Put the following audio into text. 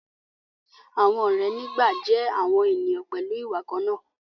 àwọn òré ní gbà jé àwọn ènìyàn pẹlú ìwà kànnà.